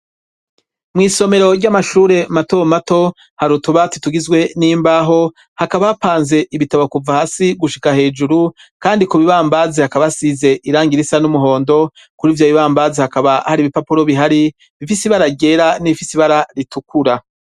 Mw'isomero ry'amashure mato mato har utubati tugizwe n'imbaho hakaba hapanze ibitabo kuva hasi gushika hejuru kandi ku bibambazi hakaba asize irangirisa n'umuhondo kuri ivyo bibambazi hakaba hari ibipapuro bihari bifisibara gera n'ifisibara ritukura.